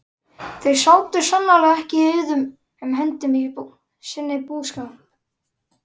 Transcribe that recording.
Þau sátu sannarlega ekki auðum höndum í sínum búskap.